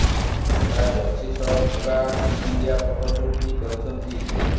ନୂଆ ଜର୍ସି ସହ ପୁରା ଟିମ୍ ଇଣ୍ଡିଆ ଫଟୋ ସୁଟ୍ ବି କରିଛନ୍ତି